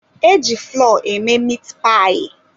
E ji flọọ eme mit payi.